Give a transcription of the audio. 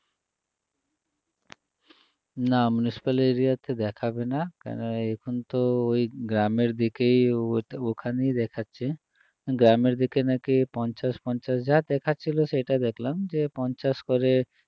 না municipal area তে দেখাবে না কেন এখন তো ওই গ্রামের দিকে ও~ ওখানেই দেখাচ্ছে গ্রামের দিকে নাকি পঞ্চাশ পঞ্চাশ যা দেখাচ্ছিল সেইটা দেখলাম যে পঞ্চাশ করে